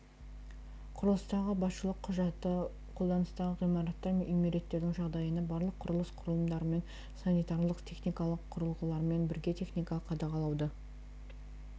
құрылыстағы басшылық құжаты қолданыстағы ғимараттар мен үймереттердің жағдайына барлық құрылыс құрылымдарымен санитарлық-техникалық құрылғыларымен бірге техникалық қадағалауды